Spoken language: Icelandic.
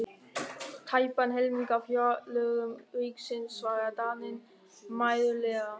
Tæpan helming af fjárlögum ríkisins, svaraði Daninn mæðulega.